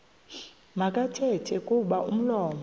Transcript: makathethe kuba umlomo